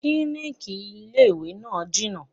Klíníkì ilé ìwé náà jìnà.